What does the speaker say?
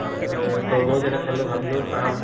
আ তৰমুজ এটা চালো ভাবিলো খাম